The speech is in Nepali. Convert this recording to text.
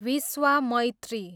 विश्वामैत्री